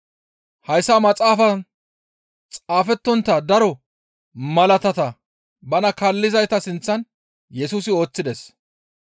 Hayssa maxaafaan xaafettontta daro malaatata bana kaallizayta sinththan Yesusi ooththides.